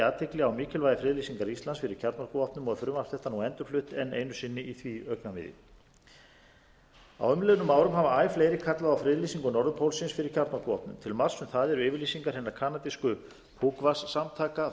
athygli á mikilvægi friðlýsingar ísland fyrir kjarnorkuvopnum og er frumvarp þetta nú endurflutt einu sinni í því augnamiði á umliðnum árum hafa æ fleiri kallað á friðlýsingu norðurpólsins fyrir kjarnorkuvopnum til marks um það eru yfirlýsingar hinnar